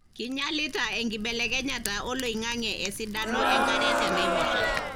kinyialita enkibelekenyata oloingange esidano enkare tanaiposha.